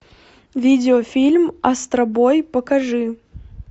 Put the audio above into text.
видеофильм астробой покажи